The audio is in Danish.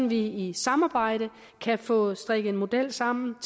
vi i samarbejde kan få strikket en model sammen